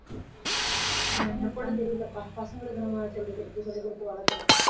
பசங்க கூட தெரியலப்பா பசங்களுக்கு நம்ம சொல்லிக் கொடுத்து சொல்லிக் கொடுத்து வளர்க்கிறோம்